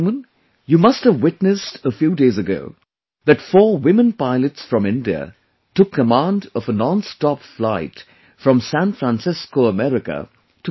you must have witnessed a few days ago, that four women pilots from India took command of a nonstop flight from San Francisco, America to Bangalore